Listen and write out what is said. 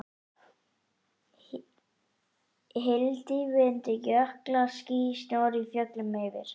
Hyldýpi undir, jöklar, ský, snjór í fjöllum yfir.